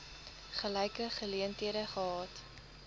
gelyke geleenthede gehad